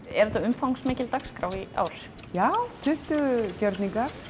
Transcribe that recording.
er þetta umfangsmikil dagskrá í ár já tuttugu gjörningar